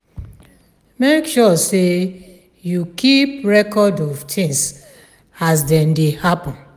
make sure sey you keep record of things as dem dey happen